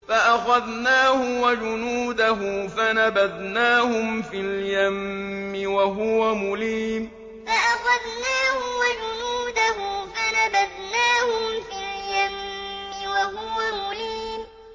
فَأَخَذْنَاهُ وَجُنُودَهُ فَنَبَذْنَاهُمْ فِي الْيَمِّ وَهُوَ مُلِيمٌ فَأَخَذْنَاهُ وَجُنُودَهُ فَنَبَذْنَاهُمْ فِي الْيَمِّ وَهُوَ مُلِيمٌ